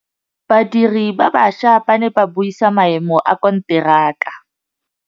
Badiri ba baša ba ne ba buisa maêmô a konteraka.